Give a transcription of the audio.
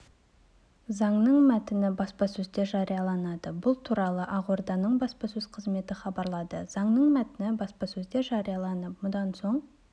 заңның мәтіні баспасөзде жарияланады бұл туралы ақорданың баспасөз қызметі хабарлады заңның мәтіні баспасөзде жарияланады мұнан соң